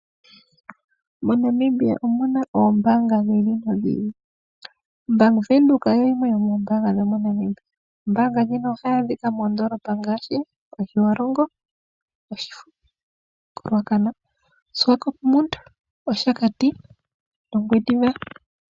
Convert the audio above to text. MoNamibia omu na oombaanga dhi ili nodhi ili. Bank Windhoek oyo yimwe yomoombaanga dho moNamibia. Ombaanga ndjino ohayi adhika moondoolopa ngaashi: Otjiwarongo, Oshifo, koRuacana, Swakopmund, Oshakati nOngwediva.